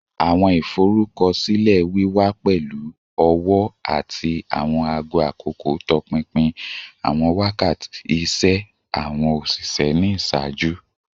Awọn iforukọsilẹ wiwa pẹlu ọwọ ati awọn aago akoko tọpinpin awọn wakati iṣẹ awọn oṣiṣẹ ni iṣaaju